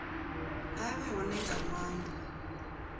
a vhe hone nga ṅwambo